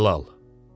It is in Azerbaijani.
Mir Cəlal.